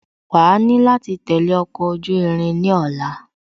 Wàá ni láti tẹ̀lé ọkọ̀ ojú irin ní ọ̀la